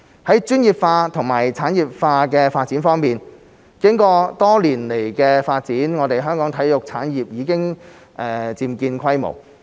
在專業化及產業化發展方面，經過多年來的發展，香港的體育產業已漸見規模。